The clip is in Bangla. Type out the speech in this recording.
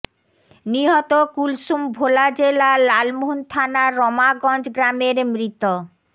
নিহত কুলসুম ভোলা জেলার লালমোহন থানার রমাগঞ্জ গ্রামের মৃত